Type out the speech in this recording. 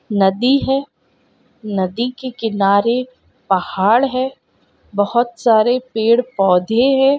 नदी हैं नदी के किनारे पहाड़ हैं बहोत सारे पेड़-पौधे हैं।